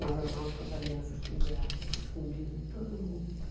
Nós andávamos com as alianças penduradas aqui, escondido de todo mundo.